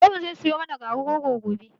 Babanmu zai siyo mana garin rogo gobe